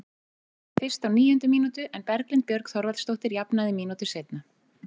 Fyrst á níundu mínútu en Berglind Björg Þorvaldsdóttir jafnaði mínútu seinna.